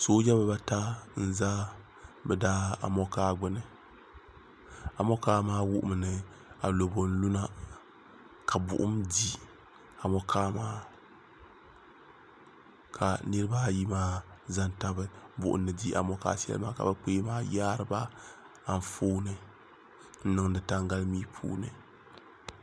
sooja bibaata n-za bɛ daamɔŋkaa gbuni amɔŋkaa maa wuhimi ni alobo n-luna ka buɣum di amɔŋkaa maa ka niriba ayi maa za n-tabi buɣum ni di amɔŋkaa shɛli maa ka bɛ kpee maa yaari ba anfooni n-niŋdi taŋgalimia puuni